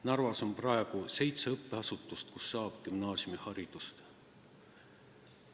Narvas on praegu seitse õppeasutust, kus saab gümnaasiumiharidust.